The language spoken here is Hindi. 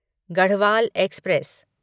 गढ़वाल एक्सप्रेस